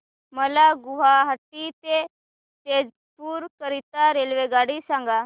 मला गुवाहाटी ते तेजपुर करीता रेल्वेगाडी सांगा